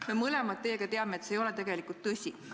Me mõlemad teame, et see ei ole tegelikult tõsi.